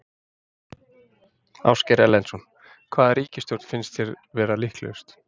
Ásgeir Erlendsson: Hvaða ríkisstjórn finnst þér vera líklegust?